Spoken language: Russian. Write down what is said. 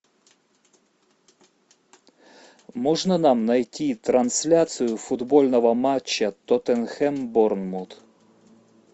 можно нам найти трансляцию футбольного матча тоттенхэм борнмут